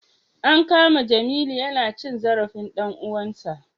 An kama Jamiu yana cin zarafin dan uwansa